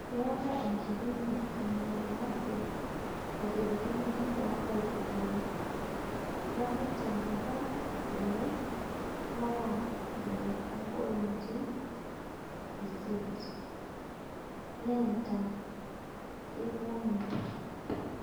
Keeta nkipimot easid nairirkino too nkaitubulu (te kati eile ompaka ile ompointi isiet)neeta keibung'a.